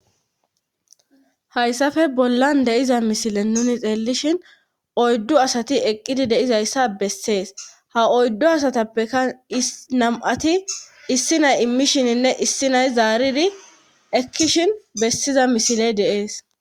hayssafe bollan deiza misile nuni xeellishin oyddu asati eqqidi deizayssa bessees ha oyddu asatappekka nam7ati issi nay immishininne issi nay zaaridi ekkishin bessiza misiley deees